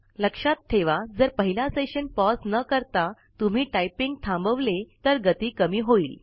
लक्षात ठेवा जर पहिला सेशन पॉज न करता तुम्ही टाइपिंग थांबवली तर गती कमी होईल